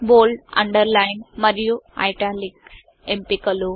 bold underline మరియు italics ఎంపికలు